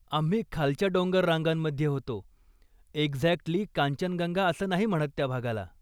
आम्ही खालच्या डोंगररांगांमध्ये होतो, एक्झॅक्टली कांचनगंगा असं नाही म्हणत त्या भागाला.